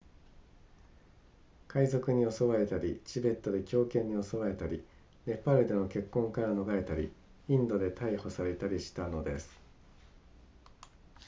海賊に襲われたりチベットで狂犬に襲われたりネパールでの結婚から逃れたりインドで逮捕されたりしたのです